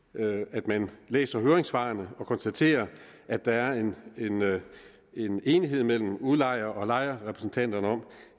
at man læser høringssvarene hvor konstatere at der er en en enighed mellem udlejer og lejerrepræsentanterne om